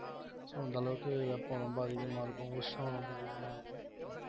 so அந்த அளவுக்கு வெப்பம் ரொம்ப அதிகமா இருக்கும் உஷ்ணம் ரொம்ப அதிகமா இருக்கும்